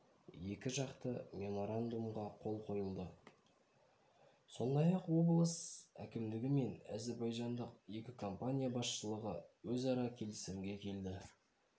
екіжақты меморандумға қол қойылды сондай-ақ облыс әкімдігі мен әзербайжандық екі компания басшылығы өзара келісімге келді